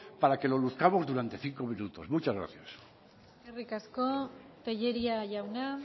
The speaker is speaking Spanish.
para que lo luzcamos durante cinco minutos muchas gracias eskerrik asko tellería jauna